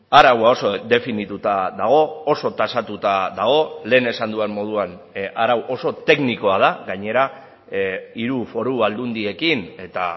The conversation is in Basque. araua oso definituta dago oso tasatuta dago lehen esan dudan moduan arau oso teknikoa da gainera hiru foru aldundiekin eta